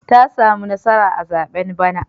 Ta sami nasara a zaɓen bana.